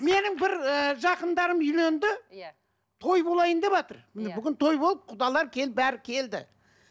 менің бір і жақындарым үйленді иә той болайын деватыр иә бүгін той болып құдалар бәрі келді